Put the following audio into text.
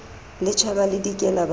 le tjhaba le dikela ba